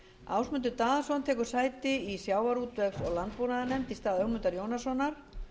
ásmundur daðason tekur sæti í sjávarútvegs og landbúnaðarnefnd í stað ögmundar jónassonar